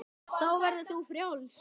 Þá verður þú frjáls.